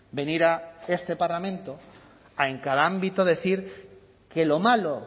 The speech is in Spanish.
venir a este parlamento a en cada ámbito decir que lo malo